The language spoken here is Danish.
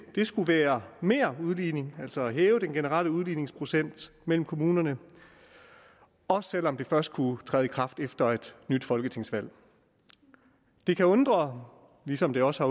skulle være mere udligning altså at hæve den generelle udligningsprocent mellem kommunerne også selv om det først kunne træde i kraft efter et nyt folketingsvalg det kan undre som det også